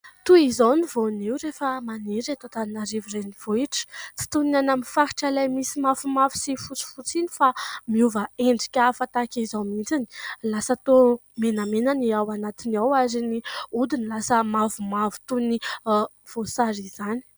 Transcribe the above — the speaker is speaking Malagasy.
Toy izao ny voanio rehefa maniry eto Antananarivo renivohitra, tsy toy ny any amin'ny faritra ilay misy mafimafy sy fotsifotsy iny fa miova endrika hafa tahaka izao mihitsiny, lasa toa menamena ny ao anatiny ao ary ny hodiny lasa mavomavo toy ny voasary izany.